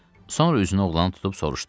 Sonra üzünü oğlana tutub soruşdu: